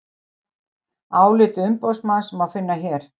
Álit umboðsmanns má finna hér